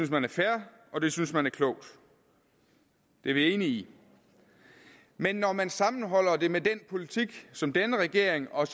man er fair og det synes man er klogt det er vi enige i men når man sammenholder det med den politik som denne regering og